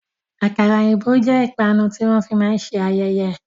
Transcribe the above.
Àkàrà òyìnbó jẹ́ ìpanu tí wọn fi máa ń ṣe ayẹyẹ.